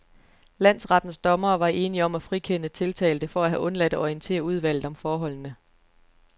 Landsrettens dommere var enige om at frikende tiltalte for at have undladt at orientere udvalget om forholdene.